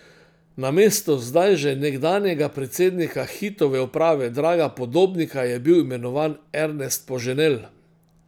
Namesto zdaj že nekdanjega predsednika Hitove uprave Draga Podobnika je bil imenovan Ernest Poženel.